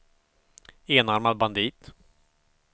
enarmad bandit